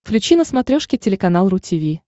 включи на смотрешке телеканал ру ти ви